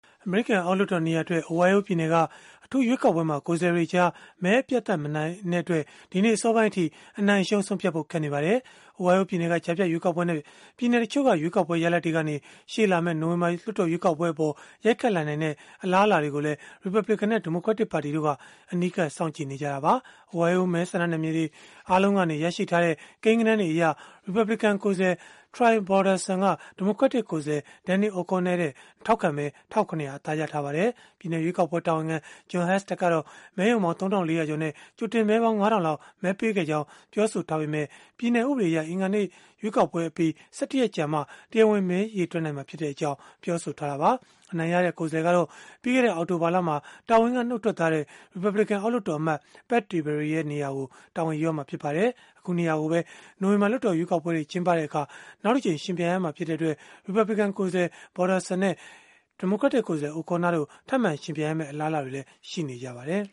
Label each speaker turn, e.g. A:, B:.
A: အမေရိကန် အောက်လွှတ်တော်နေရာအတွက် အိုဟိုင်းယိုးပြည်နယ်က အထူးရွေးကောက်ပွဲမှာ ကိုယ်စားလှယ်တွေကြား မဲအပြတ်အသတ် အနိုင်မရတဲ့အတွက် ဒီနေ့အစောပိုင်းအထိ အနိုင်-အရှုံး ဆုံးဖြတ်ဖို့ ခက်ခဲနေပါတယ်။ အိုဟိုင်းယိုးပြည်နယ်က ကြားဖြတ်ရွေးကောက်ပွဲနဲ့ ပြည်နယ်တချို့က ရွေးကောက်ပွဲ ရလဒ်တွေကနေ ရှေ့လာမယ့် နိုဝင်ဘာ လွှတ်တော်ရွေးကောက်ပွဲအပေါ် ရိုက်ခတ်လာနိုင်တဲ့ အလားအလာတွေကိုလည်း ရီပတ်ဘလစ်ကန်နဲ့ ဒီမိုကရက်တစ်ပါတီတို့က အနီးကပ် စောင့်ကြည့်နေကြတာပါ။ အိုးဟိုင်းယိုး မဲဆန္ဒနယ်မြေတွေ အားလုံးကရရှိထားတဲ့ ကိန်းဂဏန်းတွေအရ ရီပတ်ဘလစ်ကန်ကိုယ်စားလှယ် Troy Balderson က ဒီမိုကရက်တစ် ကိုယ်စားလှယ် Danny O'Connor ထက် ထောက်ခံမဲ ၁၇၀၀ အသာရထားပါတယ်။ ပြည်နယ်ရွေးကောက်ပွဲ တာဝန်ခံ Jon Husted ကတော့ မဲရုံပေါင်း ၃၄၀၀ ကျော်နဲ့ ကြိုတင်မဲပေါင်း ၅၀၀၀ လောက် မဲပေးခဲ့ကြောင်း ပြောဆိုခဲ့ပေမဲ့ ပြည်နယ်ဥပဒေအရ၊ အင်္ဂါနေ့ရွေးကောက်ပွဲအပြီး ၁၁ ရက်ကြာမှ တရားဝင် မဲရေတွက်နိုင်မှာဖြစ်ကြောင်း ပြောဆိုထားတာပါ။ အနိုင်ရတဲ့ ကိုယ်စားလှယ်ကတော့ ပြီးခဲ့တဲ့ အောက်တိုဘာလမှာ တာဝန်ကနှုတ်ထွက်သွားတဲ့ ရီပတ်ဘလစ်ကန် အောက်လွှတ်တော်အမတ် Pat Tiberi ရဲ့ နေရာကို တာဝန်ယူရမှာ ဖြစ်ပါတယ်။ အခုနေရာကိုပဲ နိုဝင်ဘာ လွှတ်တော်ရွေးကောက်ပွဲတွေ ကျင်းပတဲ့အခါ နောက်တကြိမ်ယှဉ်ပြိုင်ရမှာ ဖြစ်တဲ့အတွက် ရီပတ်ဘလစ်ကန် ကိုယ်စားလှယ် Balderson နဲ့ ဒီမိုကရက်တစ် ကိုယ်စားလှယ် O'Connor တို့ ထပ်မံယှဉ်ပြိုင်ရမယ့် အလားအလာတွေလည်း ရှိနေပါတယ်